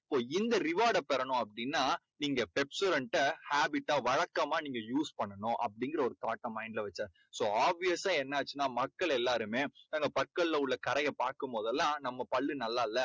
இப்போ இந்த reward டைப் பெறனும் அப்படீன்னா நீங்க Pepsodent டை habit டா வழக்கமா நீங்க use பண்ணணும் அப்படீங்கற ஒரு thought டை mind ல வெச்சாரு. so obvious சா என்னாச்சுன்னா மக்கள் எல்லாருமே பற்கல்ல உள்ள கரையை பார்க்கும் போதெல்லாம் நம்ம பள்ளு நல்லா இல்லை.